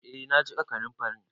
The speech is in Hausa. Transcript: Eh na jiƙa kanunfarin.